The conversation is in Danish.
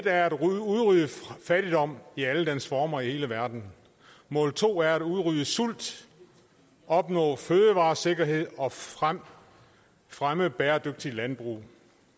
er at udrydde fattigdom i alle dens former i hele verden mål to er at udrydde sult opnå fødevaresikkerhed og fremme fremme bæredygtigt landbrug